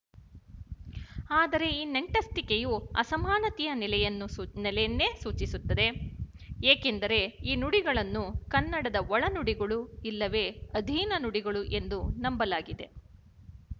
ಆದರೆ ಈ ನಂಟಸ್ತಿಕೆಯು ಅಸಮಾನತೆಯ ನೆಲೆಯನ್ನೇ ಸೂಚಿಸುತ್ತದೆ ಏಕೆಂದರೆ ಈ ನುಡಿಗಳನ್ನು ಕನ್ನಡದ ಒಳನುಡಿಗಳು ಇಲ್ಲವೇ ಅಧೀನ ನುಡಿಗಳು ಎಂದು ನಂಬಲಾಗಿದೆ